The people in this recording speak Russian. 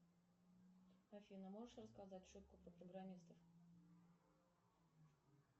афина можешь рассказать шутку про программистов